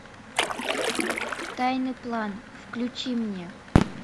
тайный план включи мне